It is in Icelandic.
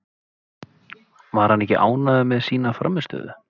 Var hann ekki ánægður með sína frammistöðu?